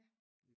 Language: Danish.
Ja